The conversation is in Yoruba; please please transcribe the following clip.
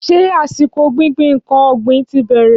Ṣé àsìkò gbíngbin nkan ọ̀gbìn ti bẹ̀rẹ̀?